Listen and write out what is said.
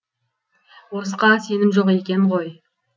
орысқа сенім жоқ екен ғой